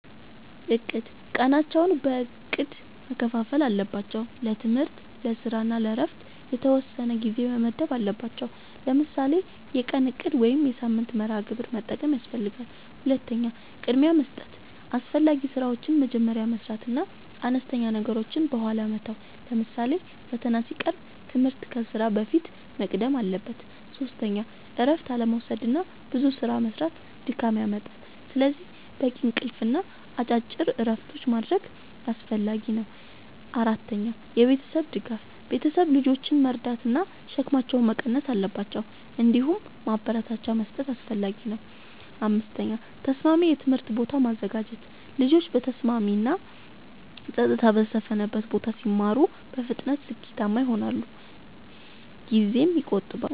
፩. እቅድ፦ ቀናቸውን በእቅድ መከፋፈል አለባቸው። ለትምህርት፣ ለስራ እና ለእረፍት የተወሰነ ጊዜ መመደብ አለባቸዉ። ለምሳሌ የቀን እቅድ ወይም የሳምንት መርሃ ግብር መጠቀም ያስፈልጋል። ፪. ቅድሚያ መስጠት፦ አስፈላጊ ስራዎችን መጀመሪያ መስራት እና አነስተኛ ነገሮችን በኋላ መተው። ለምሳሌ ፈተና ሲቀርብ ትምህርት ከስራ በፊት መቅደም አለበት። ፫. እረፍት አለመዉሰድና ብዙ ስራ መስራት ድካም ያመጣል። ስለዚህ በቂ እንቅልፍ እና አጭር እረፍቶች ማድረግ አስፈላጊ ነው። ፬. የቤተሰብ ድጋፍ፦ ቤተሰብ ልጆችን መርዳት ወይም ሸክማቸውን መቀነስ አለባቸው። እንዲሁም ማበረታቻ መስጠት አስፈላጊ ነው። ፭. ተስማሚ የትምህርት ቦታ ማዘጋጀት፦ ልጆች በተስማሚ እና ጸጥታ በሰፈነበት ቦታ ሲማሩ በፍጥነት ስኬታማ ይሆናሉ ጊዜም ይቆጥባሉ።